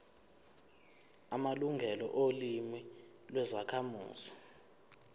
amalungelo olimi lwezakhamuzi